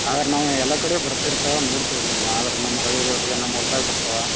ಆದ್ರೆ ನಾವ್ ಎಲ್ಲಾ ಕಡೆ ಬರ್ತಾ ಇರ್ತವು ನೋಡ್ತಿವಿ ರೀ ನಾವು ಆದ್ರೆ ನಮ್ ಹಳ್ಳಿಗಳಲ್ ನಮ್ಮ ಹೊಲದಾಗ ಬರ್ತಾವ.